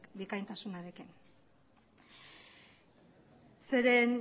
bikaintasunarekin zeren